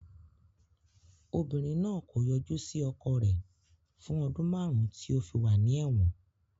Obìnrin náà kò yọjú sí ọkọ rẹ̀ fún ọdún márùn-ún tí ó fi wà ní ẹ̀wọ̀n.